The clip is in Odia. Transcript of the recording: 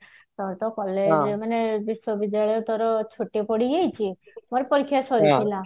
ବିଶ୍ୱବିଦ୍ୟାଳୟ ତୋର ଛୁଟି ପଡି ଯାଇଛି ମୋର ପରୀକ୍ଷା ସରିଥିଲା